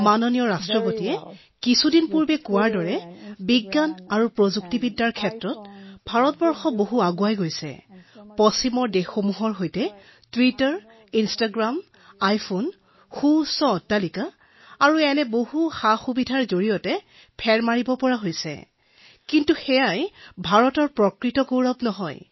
মই কিছুদিন পূৰ্বে মাননীয় ৰাষ্ট্ৰপতি মহোদয়ক কৈছিলো যে ভাৰতে কাৰিকৰী দিশত ইমানখিনি আগবাঢ়িছে আৰু টুইটাৰ আৰু ইনষ্টাগ্ৰাম আৰু আইফোন আৰু ডাঙৰ অট্টালিকা আৰু ইমান সুবিধাৰ সৈতে পশ্চিমক ভালদৰে অনুসৰণ কৰিছে কিন্তু মই জানো যে সেয়া ভাৰতৰ প্ৰকৃত গৌৰৱ নহয়